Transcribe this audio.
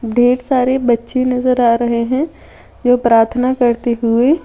ढेर सारे बच्चे नजर आ रहे हैं जो प्रार्थना करते हुए--